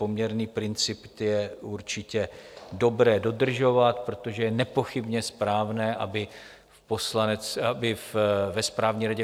Poměrný princip je určitě dobré dodržovat, protože je nepochybně správné, aby ve Správní radě